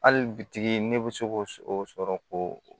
Hali bitigi ne bɛ se ko o sɔrɔ koo